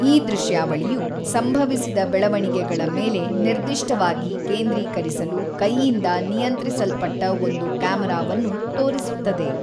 ಈ ದೃಶ್ಯಾವಳಿಯು, ಸಂಭವಿಸಿದ ಬೆಳವಣಿಗೆಗಳ ಮೇಲೆ ನಿರ್ದಿಷ್ಟವಾಗಿ ಕೇಂದ್ರೀಕರಿಸಲು ಕೈಯಿಂದ ನಿಯಂತ್ರಿಸಲ್ಪಟ್ಟ ಒಂದು ಕ್ಯಾಮರಾವನ್ನು ತೋರಿಸುತ್ತದೆ.